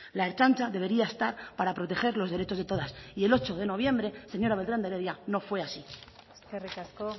la ertzaintza debería estar para proteger los derechos de todas y el ocho de noviembre señora beltrán de heredia no fue así eskerrik asko